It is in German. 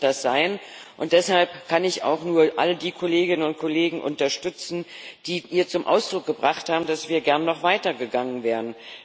Ja, so muss das sein, und deshalb kann ich auch nur all die Kolleginnen und Kollegen unterstützen, die hier zum Ausdruck gebracht haben, dass wir gern noch weiter gegangen wären.